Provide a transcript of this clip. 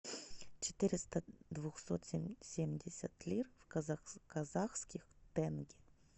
четыреста двухсот семьдесят лир в казахских тенге